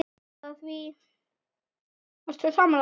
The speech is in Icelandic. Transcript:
Ertu sammála því?